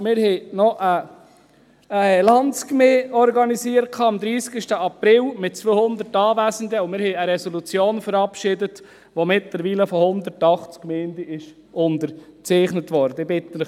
Wir haben am 30. April 2019 eine Landsgemeinde mit 200 Anwesenden organisiert und eine Resolution verabschiedet, die mittlerweile von 180 Gemeinden unterzeichnet worden ist.